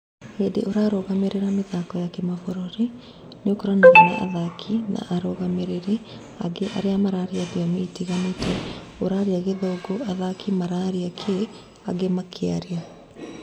"Hĩndĩ ũrarũgamĩrĩra mĩthako ya kĩmafũrũri nĩokoranaga na athaki na arũgamĩrĩri ange aria mararia thiomi itiganĩte, ũraria gĩthũgu ,athaki mararia kĩ..... ange makearia.....